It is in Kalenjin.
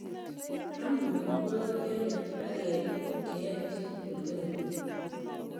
Aam omitwogik chemiach akiyai tuguk cheyoe chitugul kila